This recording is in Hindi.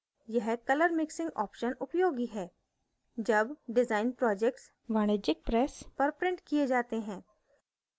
यह color mixing option उपयोगी है जब डिजाइन projects वाणिज्यिक presses पर printed किये जाते हैं